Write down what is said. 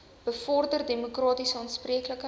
bevorder demokratiese aanspreeklikheid